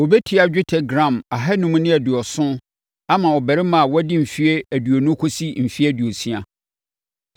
ɔbɛtua dwetɛ gram ahanum ne aduɔson (570) ama ɔbarima a wadi mfeɛ aduonu kɔsi mfeɛ aduosia,